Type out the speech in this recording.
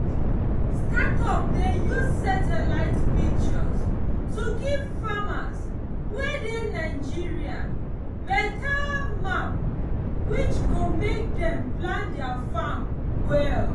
startup dey use satellite pictures to give farmers wey dey nigeria beta map which go make dem plan their farm well